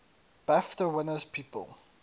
bafta winners people